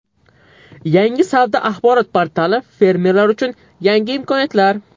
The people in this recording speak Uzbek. Yangi savdo-axborot portali fermerlar uchun yangi imkoniyatlar.